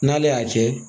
N'ale y'a kɛ